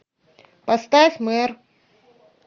поставь мэр